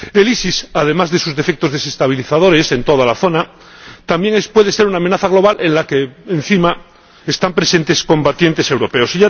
El EI, además de sus defectos desestabilizadores en toda la zona, también puede ser una amenaza global en la que, para más inri, están presentes combatientes europeos.